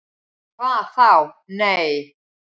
"""Hvað þá., nei."""